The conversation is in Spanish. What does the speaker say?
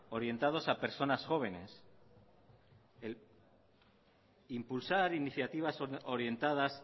orientados a personas jóvenes impulsar iniciativas orientadas